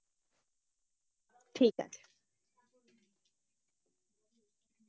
ঠিক আছে।